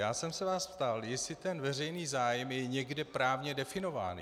Já jsem se vás ptal, jestli ten veřejný zájem je někde právně definován.